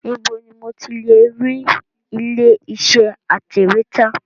Ibo ni mo ti lè rí ilé iṣẹ́ atẹ̀wẹ́tà?